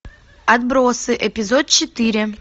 отбросы эпизод четыре